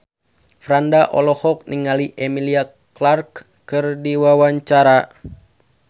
Franda olohok ningali Emilia Clarke keur diwawancara